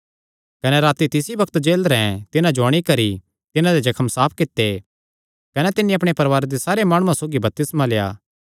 कने राती तिसी बग्त जेलरैं तिन्हां जो अंणी करी तिन्हां दे जख्म साफ कित्ते कने तिन्नी अपणे परवारे दे सारे माणुआं सौगी बपतिस्मा लेआ